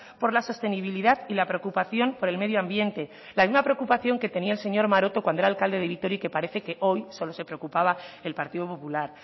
por la sostenibilidad y la preocupación por el medio ambiente la misma preocupación que tenía el señor maroto cuando era alcalde de vitoria y que parece que hoy solo se preocupaba el partido popular